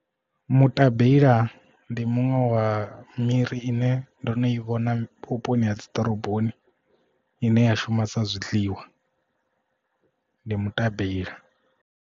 Mutabeila ndi muṅwe wa miri ine ndo no i vhona vhuponi ha dziḓoroboni ine ya shuma sa zwiḽiwa ndi mutabeila.